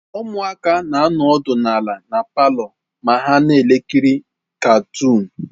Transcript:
Ụmụaka na-anọdụ ala na palọ ma ha na-ekiri katuunu.